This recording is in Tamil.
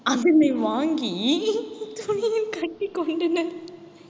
அதனை வாங்கி துணியில் கட்டிக் கொண்டனர்